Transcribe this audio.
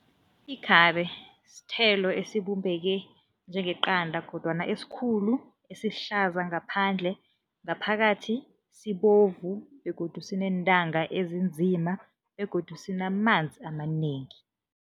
Ikhabe sithelo esibumbeke njengeqada kodwana esikhulu, esihlaza ngaphandle, ngaphakathi sibovu begodu sineentanga ezinzima begodu sinamanzi amanengi.